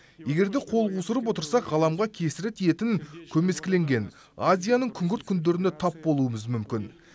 егер де қол қусырып отырсақ ғаламға кесірі тиетін көмескіленген азияның күңгірт күндеріне тап болуымыз мүмкін